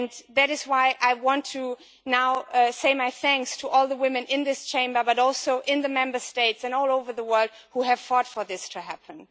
That is why I now want to give my thanks to all the women in this Chamber, and also in the Member States and all over the world, who have fought for this to happen.